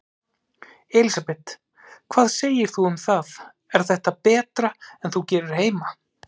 Elísabet: Hvað segir þú um það, er þetta betra en þú gerir heima?